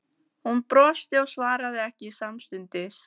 Hún brosti og svaraði ekki samstundis.